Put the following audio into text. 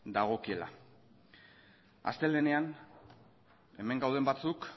dagokiela astelehenean hemen gauden batzuk